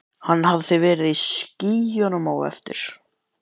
Hann hafði verið í skýjunum á eftir.